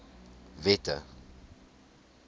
wette